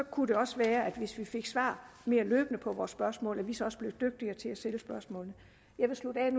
kunne også være at vi hvis vi fik svar på vores spørgsmål så også blev dygtigere til at stille spørgsmålene jeg vil slutte af